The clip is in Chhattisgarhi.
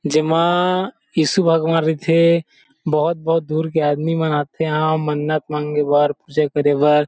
जेमा ईशु भगवान रीथे बहुत-बहुत दूर के आदमी मन आथे एहाँ मन्नत मांगे बर पूजा करे बर --